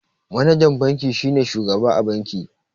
Manajan banki shine shugaba a banki.